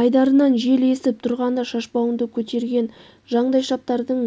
айдарынан жел есіп тұрғанда шашбауыңды көтерген жандайшаптардың